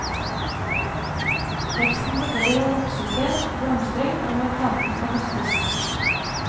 Teksten forteller om voksested, blomstring og når planten kan høstes.